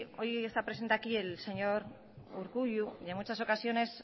hoy está presente aquí el señor urkullu que en muchas ocasiones